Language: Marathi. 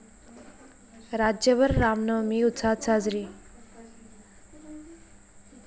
राज्यभर रामनवमी उत्साहात साजरी